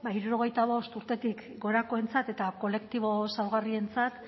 hirurogeita bost urtetik gorakoentzat eta kolektibo zaurgarrientzat